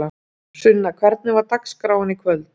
Sunna: Hvernig var dagskráin í kvöld?